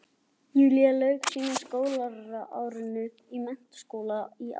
Júlía lauk seinna skólaári sínu á menntaskólastigi í árslok